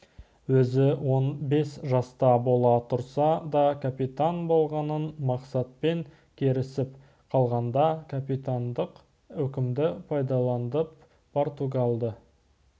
өзі он бес жаста бола тұрса да капитан болғанын мақсатпен керісіп қалғанда капитандық өкімді пайдаланып португалды